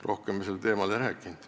Rohkem me sel teemal ei rääkinud.